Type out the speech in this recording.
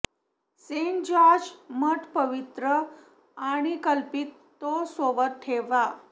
Saint George मठ पवित्र आणि कल्पित तो सोबत ठेवा